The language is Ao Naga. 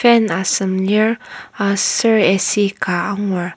fan asem lir aser ac ka angur.